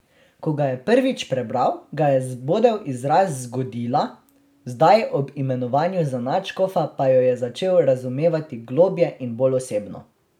Ko ga je prvič prebral, ga je zbodel izraz zgodila, zdaj ob imenovanju za nadškofa pa jo je začel razumevati globlje in bolj osebno.